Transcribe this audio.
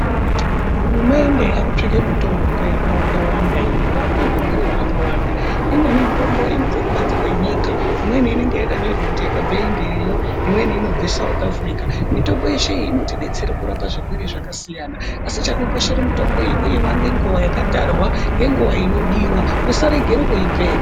Hurumende yakutsvaka mitombo yakawanda-wanda inorape zvirwere zvakawanda. Imweni mitombo inobve kubanze kwenyika, imweni inonga yakanyorwa kuzi yakabvei ngeyo. Imweni inobve sauti afurika mitombo yeshe iyi inotibetsere kurapa zvirwere zvakasiyana. Asi chakakoshera mutombo iyi kuimwa nenguva yakatarwa ngenguva inodiva usarengera kuipedza.